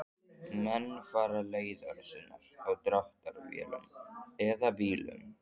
Menn fara leiðar sinnar á dráttarvélum eða bílum.